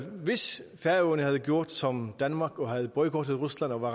hvis færøerne havde gjort som danmark og havde boykottet rusland og var